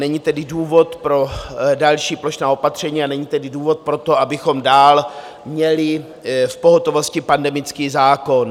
Není tedy důvod pro další plošná opatření a není tedy důvod pro to, abychom dál měli v pohotovosti pandemický zákon.